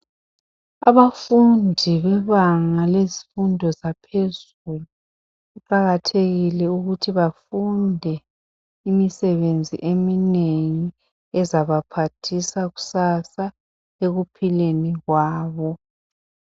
Abafundi bebanga lezifundo zaphezulu kuqakathekile ukuthi befundi imisebenzi imisebwnzi eminengi ezabaphathisa kusasa ekuphileni kwabo